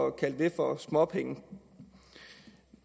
at kalde det for småpenge